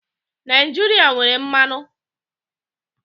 Naijiria nwere mmanụ.